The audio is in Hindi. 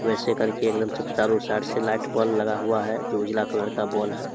वैसे करके एकदम सिर्फ चारो साइड से लाइट बल्ब लगा हुआ है जो उजला कलर का बोल है |